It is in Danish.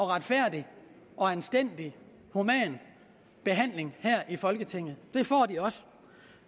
retfærdig og anstændig behandling af her i folketinget det får de også